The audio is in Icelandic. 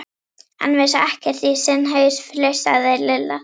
Hann vissi ekkert í sinn haus, flissaði Lilla.